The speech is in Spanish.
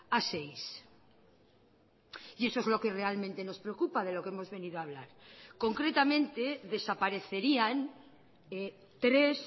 a seis y eso es lo que realmente nos preocupa de lo que hemos venido a hablar concretamente desaparecerían tres